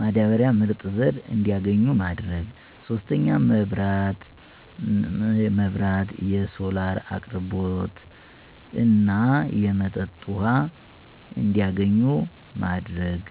ማዳበሪያና ምርጥ ዘር እንዲያገኙ ማድረግ። 3, መብራት(የሶላር አቅርቦት) እና የመጠጥ ውሃ እንዲያገኙ ማድረግ።